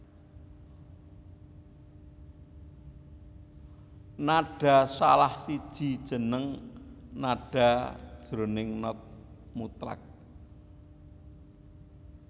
nada salah siji jeneng nada jroning not mutlak